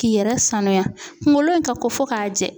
K'i yɛrɛ sanuya kunkolo in ka ko fɔ k'a jɛ.